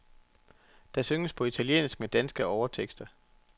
Der synges på italiensk med danske overtekster.